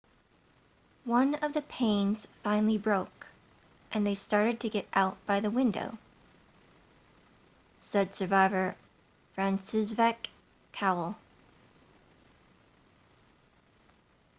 one of the panes finally broke and they started to get out by the window said survivor franciszek kowal